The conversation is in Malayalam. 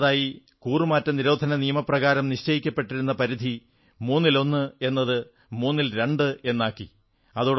രണ്ടാമതായി കൂറുമാറ്റ നിരോധന നിയമപ്രകാരം നിശ്ചയിക്കപ്പെട്ടിരുന്ന പരിധി മൂന്നിലൊന്ന് എന്നത് മൂന്നിൽ രണ്ട് എന്നാക്കി മാറ്റി